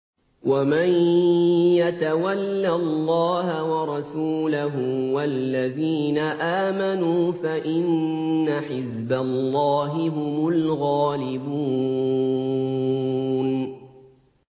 وَمَن يَتَوَلَّ اللَّهَ وَرَسُولَهُ وَالَّذِينَ آمَنُوا فَإِنَّ حِزْبَ اللَّهِ هُمُ الْغَالِبُونَ